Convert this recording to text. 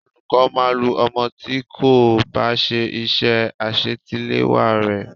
Olùkọ́ máa lu ọmọ tí kò bá ṣe iṣẹ́ àṣetiléwá re.